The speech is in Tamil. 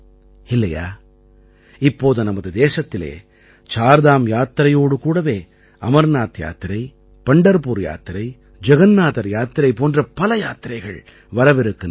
இல்லையா இப்போது நமது தேசத்திலே சார்தாம் யாத்திரையோடு கூடவே அமர்நாத் யாத்திரை பண்டர்புர் யாத்திரை ஜகன்னாதர் யாத்திரை போன்ற பல யாத்திரைகள் வரவிருக்கின்றன